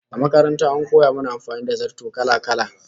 A makaranta an koya mana amfani da zarto kala-kala